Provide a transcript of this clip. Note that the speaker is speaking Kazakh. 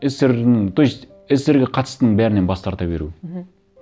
ссср дің то есть ссср ге қатыстының бәрінен бас тарта беру мхм